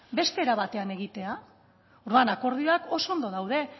beste era batean egitea orduan akordioak oso ondo daude